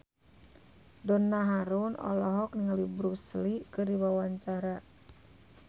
Donna Harun olohok ningali Bruce Lee keur diwawancara